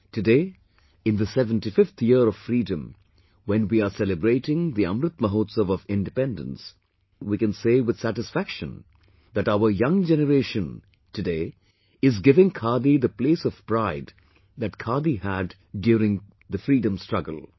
Today in the 75 th year of freedom when we are celebrating the Amrit Mahotsav of Independence, we can say with satisfaction today that our young generation today is giving khadi the place of pride that khadi had during freedom struggle